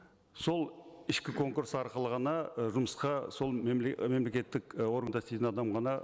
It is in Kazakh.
сол ішкі конкурс арқылы ғана і жұмысқа сол мемлекеттік і органда істейтін адам ғана